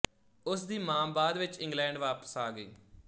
ਉਸਦੀ ਮਾਂ ਬਾਅਦ ਵਿੱਚ ਇੰਗਲੈਂਡ ਵਾਪਸ ਆ ਗਈ